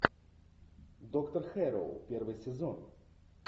доктор хэрроу первый сезон